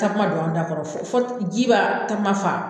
Tasuma dɔɔni ka kɔrɔ fɔ ji ba tasuma mafa.